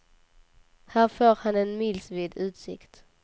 Här får han en milsvid utsikt.